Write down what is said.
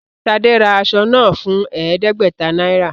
Ṣade rà aṣọ náà fún ẹẹdẹgbẹta náírà